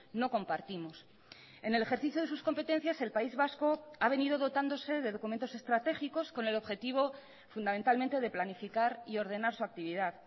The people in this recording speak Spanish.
no compartimos en el ejercicio de sus competencias el país vasco ha venido dotándose de documentos estratégicos con el objetivo fundamentalmente de planificar y ordenar su actividad